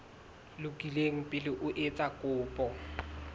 lokile pele o etsa kopo